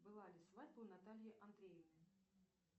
была ли свадьба у натальи андреевны